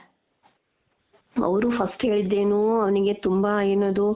ಅವ್ರು first ಹೇಳಿದ್ದೇನು ಅವ್ನಿಗೆ ತುಂಬಾ ಏನದು